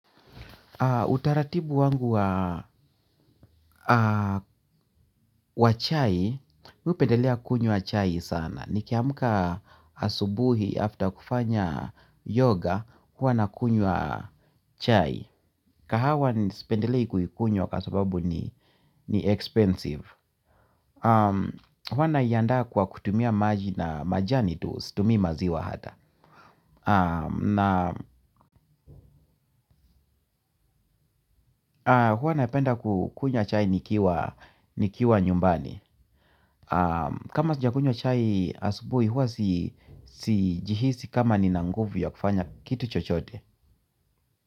Utaratibu wangu wa chai, mimi hupendelea kunywa chai sana. Niki amka asubuhi after kufanya yoga, huwa na kunywa chai. Kahawa nisipendelei kuikunywa kwa sababu ni expensive. Huwa na iandaa kwa kutumia maji na majani, tu situmi maziwa hata. Huwa napenda kukunywa chai nikiwa nyumbani. Kama sijakunywa chai asubuhi huwa siji hisi kama nina nguvu ya kufanya kitu chochote.